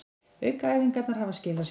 Aukaæfingarnar hafa skilað sér